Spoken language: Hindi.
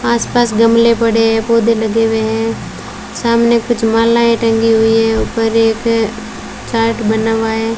आस पास गमले पड़े है पौधे लगे हुए है सामने कुछ मालाएं टंगी हुई है ऊपर एक चार्ट बना हुआ है।